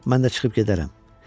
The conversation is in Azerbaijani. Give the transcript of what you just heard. Mən də çıxıb gedərəm.